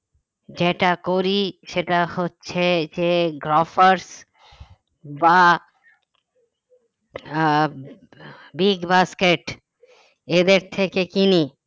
যেটা করি সেটা হচ্ছে যে গ্রফার্স বা আহ বিগবাস্কেট এদের থেকে কিনি